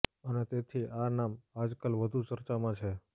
અને તેથી આ નામ આજકાલ વધુ ચર્ચામાં છે